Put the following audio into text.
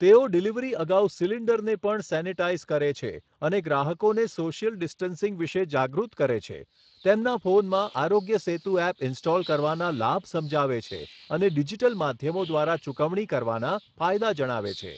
તેઓ ડિલિવરી અગાઉ સિલિન્ડરને પણ સેનિટાઇઝ કરે છે અને ગ્રાહકોને સોશિયલ ડિસ્ટન્સિંગ વિશે જાગૃત કરે છે, તેમના ફોનમાં આરોગ્ય સેતુ એપ ઇન્સ્ટોલ કરવાના લાભ સમજાવે છે અને ડિજિટલ માધ્યમો દ્વારા ચુકવણી કરવાના ફાયદા જણાવે છે.